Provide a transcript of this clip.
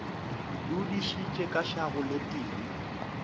dudišitše ka šago le tee